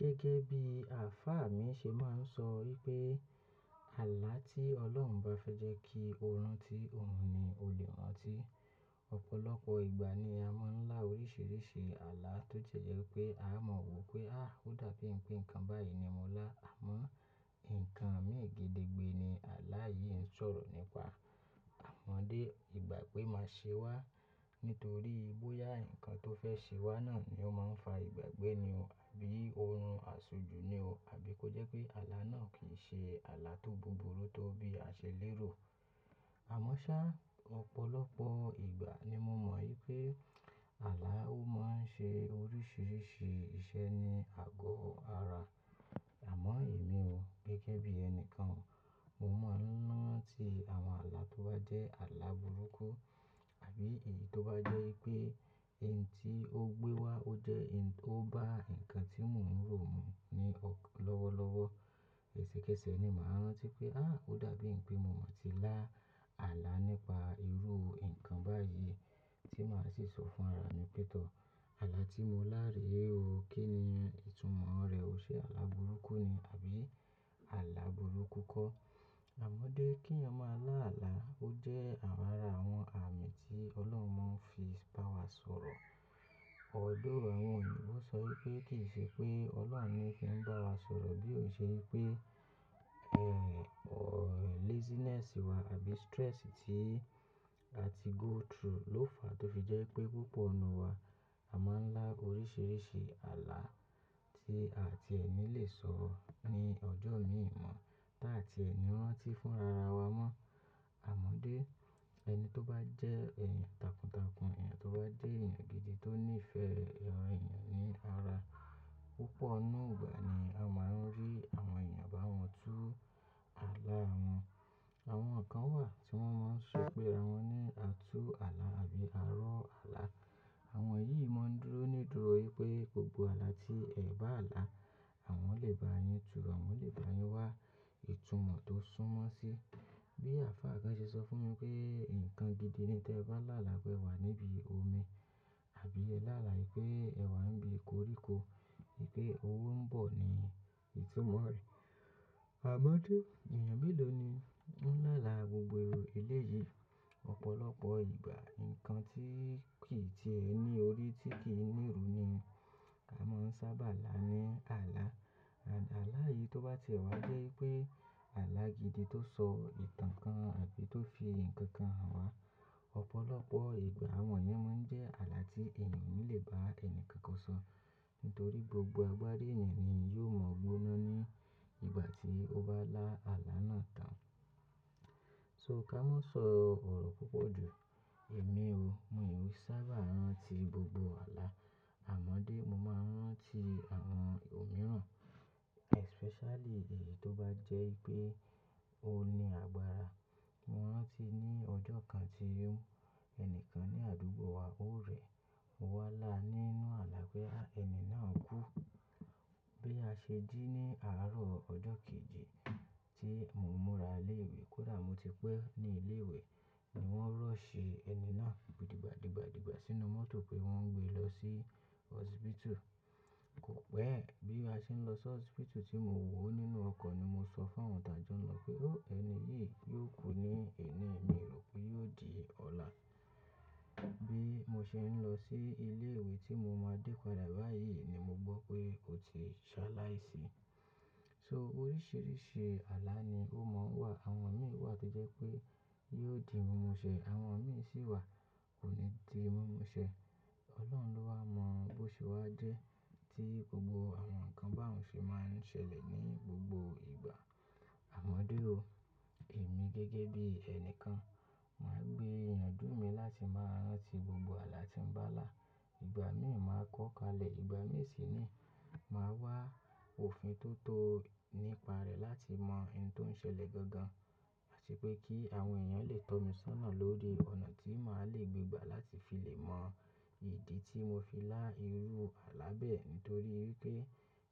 Gẹ́gẹ́ bí ààfá mi ṣe máa ń sọ wípé, "Àlá tí Ọlọ́run bá fẹ́ jẹ́ kí o rántí òun ni o lè rántí." Ọ̀pọ̀lọpọ̀ ìgbà ni a máa ń lá oríṣiríṣi àlá tó jẹ́ pé a mọ̀ wopé, "ó dàbí ń pé nǹkan báyìí ni mo lá." Àmọ́, nǹkan mé gede gbé ni àlá yìí ń sọ̀rọ̀ nípa. Àmọ́dé, ìgbà gbé máa ṣe wá nítorí bóyá nǹkan tó fẹ́ ṣe wá náà ni ó máa ń fa ìgbàgbẹ́ ni o àbí ó ń run aṣojú ni o àbí kó jẹ́ pé àlá náà kì í ṣe àlá tó búburú tó bí a ṣe lérò. Àmọ́ ṣá, ọ̀pọ̀lọpọ̀ ìgbà ni mo mọ̀ wípé àlá ó máa ń ṣe oríṣiríṣi iṣẹ́ ní àgọ́ ara. Àmọ́ èmi o, gẹ́gẹ́ bí ẹni kan o, mo máa ń rántí àwọn àlá tó bá jẹ́ àlá burúkú àbí èyí tó bá jẹ́ wípé ẹni tí ó gbé wá ó jẹ́ ẹni tó bá nǹkan tí mò ń rò mu ní ọkan lọ́wọ́lọ́wọ́. Ẹ̀sẹ̀kẹsẹ̀ ni màá rántí pé, "ó dàbí ń pé mo mọ̀ tí lá àlá nípa irú nǹkan báyìí," tí màá sì sọ fún ara mi pé, "Tọ̀, àlá tí mo lá rè o, kí ni ìtumọ̀ rẹ̀ o? Ṣe àlá burúkú ni àbí àlá burúkú kọ́?" Àmọ́dé, kí ẹyan máa lá àlá ó jẹ́ árà àwọn àmì tí Ọlọ́run máa ń fi bá wa sọ̀rọ̀. Although àwọn oyìbọ̀ sọ wípé kì í ṣe pé Ọlọ́run ni fí ń bá wa sọ̀rọ̀ bí ó ṣe wípé, laziness wa àbí stress tí a ti go through ló fàá tó fi jẹ́ pé púpọ̀ inu wa a máa ń lá oríṣiríṣi àlá tí àti ẹ̀ ni lè sọ ní ọjọ́ miímo táàti ẹ ni rántí fúnra ra wa mọ́. Àmọ́dé, ẹni tó bá jẹ́ ẹ̀yàn takuntakun, èèyàn tó bá jẹ́ èèyàn gidi tó nífẹ̀ẹ́ ẹran èèyàn ní ara, púpọ̀ nù ìgbà ni a máa ń rí àwọn èèyàn bá wọn tú àlá wọn. Àwọn kan wà tí wọ́n máa ń sọ pé àwọn ní àtú àlá àbí arọ àlá. Àwọn yìí máa ń dúró nídùúró wípé gbogbo àlá tí ẹ bá là, àwọn lè bá yín tú, àwọn lè bá yín wá ìtumọ̀ tó súnmọ́ sí. Bí àfá kan ṣe sọ fún mi pé, "Nǹkan gidi ni tí ẹ bá ń là àlá pé ẹ wà níbi omi àbí ẹ là lá ìpé, ẹ wà níbi koríko, ìpé owó ń bọ̀ ni ìtumọ̀ rẹ̀." Àmọ́dé, èèyàn mélòó ni ó ń là àlá gbogbo èrò eléyìí? Ọ̀pọ̀lọpọ̀ ìgbà, nǹkan tí kì í ti ẹ ní orí tí kì í níru ni a máa ń sábà là ní àlá. Àlá yìí tó bá ti wá jẹ́ wípé àlá gidi tó sọ ìtàn kan àbí tó fi nǹkan hàn wá. Ọ̀pọ̀lọpọ̀ ìgbà àwọn iye máa ń jẹ́ àlá tí èèyàn onile lè bá ẹni kankan sọ nítorí gbogbo agbára èèyàn ni yóò mọ̀ gbóná ní ìgbà tí ó bá lá àlá náà tán. So ká máa sọ ọ̀rọ̀ púpọ̀ jù. Èmi o, miò sábà rántí gbogbo àlá. Àmọ́dé, mo máa ń rántí àwọn òmíràn, especially èyí tó bá jẹ́ wípé ó ní agbára. Mo rántí ní ọjọ́ kan tí, ẹni kan ní àdúgbò wa ó rẹ̀. Mo wá là nínú àlá pé ẹni náà kú. Bí a ṣe jí ní àárọ̀ ọjọ́ kejì tí mo múra ilé ìwé, kódà mo ti pẹ́ ní ilé ìwé ni wọ́n rush ẹni náà dìgbàdìgbàdìgbà sínú mọ́tò pé wọ́n ń gbé e lọ sí hospital. Kò pẹ́, bí a ṣe ń lọ sí hospital tí mo wò ó nínú ọkọ̀ ni mo sọ fún àwọn tàá jọ ń lọ pé, "Ó, ẹni yìí yóò kú ní," èní mio rò pé yóò di ọ̀la. Bí mo ṣe ń lọ sí ilé ìwé tí mo máa dé padà báyìí ni mo gbọ́ pé ó ti ṣá láìsí. So oríṣiríṣi àlá ni ó máa ń wà. Àwọn mìíràn wà tó jẹ́ pé yóò di mímú ṣẹ, àwọn mìíràn sì wà kò ní di mímú ṣẹ. Ọlọ́run ló wá mọ̀ bó ṣe wá jẹ́ tí gbogbo àwọn nǹkan bá òun ṣe máa ń ṣẹlẹ̀ ní gbogbo ìgbà. Àmọ́dé o, èmi gẹ́gẹ́ bí ẹni kan, màá gbé ìyànjú mi láti máa rántí gbogbo àlá tí ń bá là. Ìgbà mìíì màá kọ́ kalẹ̀, ìgbà mìíì sì ni màá wá òfin tó tọ́ nípa rẹ̀ láti mọ ẹni tó ń ṣẹlẹ̀ gangan àti pé kí àwọn èèyàn lè tọ́ mi sọ́nà lórí ọ̀nà tí màá lè gbé gbà láti fi lè mọ ìdí tí mo fi lá irú àlá bẹ́ẹ̀ nítorí wípé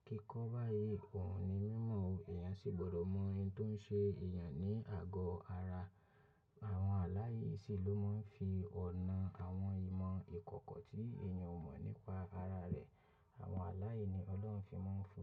kíkọ́ báyìí òún ni mímọ̀ o. Ẹ̀yàn sì gbọdọ̀ mọ oun tó ń ṣe ẹ̀yàn ní àgọ́ ara. Àwọn àlá yìí sì ló máa ń fi ọ̀nà àwọn ìmọ̀ ìkọ̀kọ̀ tí èèyàn ò mọ̀ nípa ara rẹ̀, àwọn àlá yìí ni Ọlọ́run fi máa ń fi.